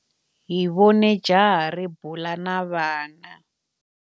Hi vone jaha ri bula na vana.